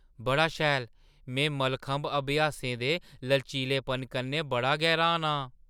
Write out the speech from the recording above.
बड़ा शैल, में मलखंभ अभ्यासियें दे लचीलेपन कन्नै बड़ा गै र्‌हान आं!